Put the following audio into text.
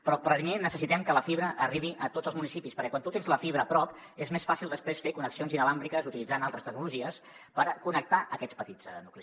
però primer necessitem que la fibra arribi a tots els municipis perquè quan tu tens la fibra prop és més fàcil després fer connexions sense fils utilitzant altres tecnologies per connectar aquests petits nuclis